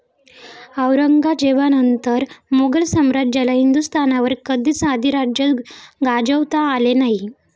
औरंगजेबानंतर मुघल साम्राज्याला हिंदुस्थानवर कधीच अधिराज्य गाजवता आले नाही.